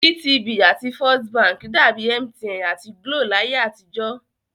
GTB àti First Bank dàbi MTN àti GLO láyé àtijọ́